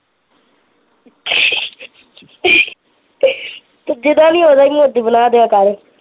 ਤੂੰ ਜਿਹਦਾ ਨੀ ਉਹਦਾ ਈ ਮੋਜੂ ਬਣਾ ਦਿਆ ਕਰ